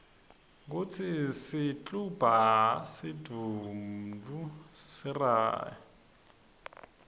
kutsi sikltumba senduntfu siryari